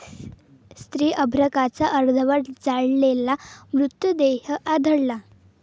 स्त्री अर्भकाचा अर्धवट जळालेला मृतदेह आढळला